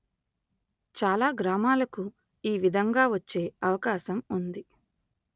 చాలా గ్రామాలకు ఈ విధంగా వచ్చే అవకాశం ఉంది